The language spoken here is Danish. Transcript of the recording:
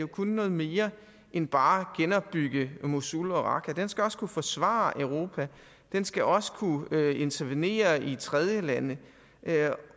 kunne noget mere end bare genopbygge mosul og raqqa den skal også kunne forsvare europa den skal også kunne intervenere i tredjelande